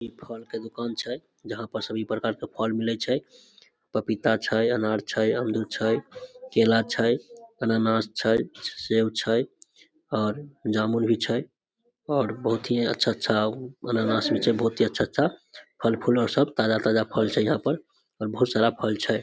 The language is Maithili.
इ फल के दुकान छै जहां पर सभी प्रकार के फल मिले छै पपीता छै अनार छै अमरूद छै केला छै अनानस छै सेब छै और जामुन भी छै और बहुत ही अच्छा-अच्छा अनानस होय छै बहुते अच्छा-अच्छा फल-फूलों सब ताजा-ताजा फल छै यहां पर और बहुत सारा फल छै।